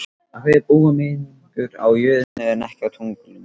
Af hverju búa mennirnir á jörðinni en ekki á tunglinu?